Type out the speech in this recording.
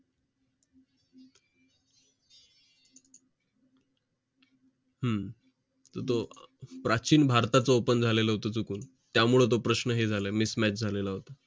हम्म तर तो प्राचीन भारताचा open झालेलं चुकून त्यामुळे तो प्रश्न हे झालं mismatch झालेलं